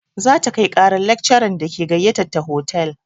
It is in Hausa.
Za ta kai ƙarar lakcaran da ke gayyatar ta hotal.